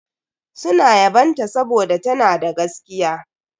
Suna yabon ta saboda tana da gaskiya.